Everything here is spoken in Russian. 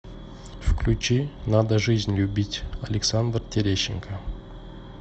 включи надо жизнь любить александр терещенко